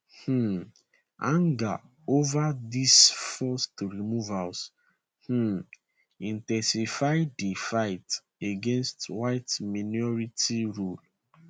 um anger ova these forced removals um in ten sify di fight against whiteminority rule